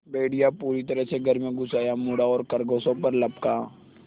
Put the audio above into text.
भेड़िया पूरी तरह से घर में घुस आया मुड़ा और खरगोशों पर लपका